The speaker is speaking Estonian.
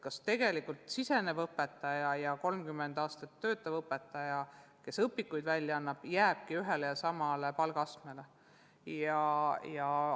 Kas alustav õpetaja ja 30 aastat töötanud õpetaja, kes näiteks õpikuid kirjutab, jäävadki ühele ja samale palgatasemele?